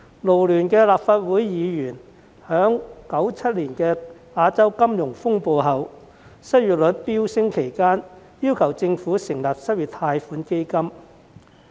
勞聯的立法會議員曾在1997年亞洲金融風暴後失業率飆升期間，要求政府成立失業貸款基金。